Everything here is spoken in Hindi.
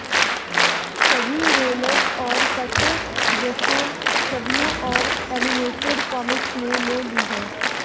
सभी रोलर्स और कट दृश्यों छवियों और एनिमेटेड कॉमिक्स ने ले ली है